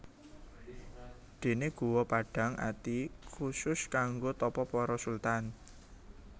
Déné Guwa Padhang Ati khusus kanggo tapa para sultan